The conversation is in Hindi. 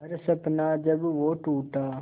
हर सपना जब वो टूटा